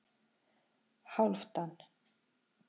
Hálfdan